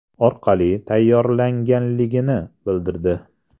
orqali tayyorlaganligini bildirdi.